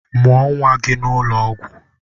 Mụọ nwa gị n'ụlọ ọgwụ!